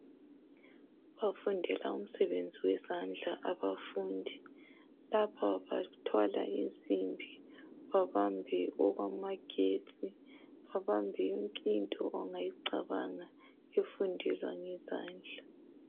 Bafundela umsebenzi wezandla abafundi lapha bathwala insimbi babambe okwamagetsi babambe yonke into ongayicabanga efundelwa ngezandla